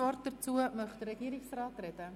Möchte der Regierungsrat dazu sprechen?